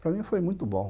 Para mim, foi muito bom.